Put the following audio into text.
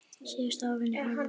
Síðustu árin í hálfu starfi.